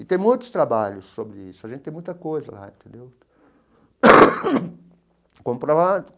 E tem muitos trabalhos sobre isso, a gente tem muita coisa lá entendeu.